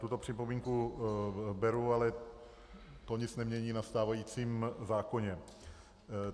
Tuto připomínku beru, ale to nic nemění na stávajícím zákoně.